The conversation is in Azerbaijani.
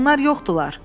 Onlar yoxdular.